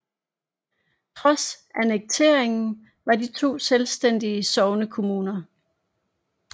Trods annekteringen var de to selvstændige sognekommuner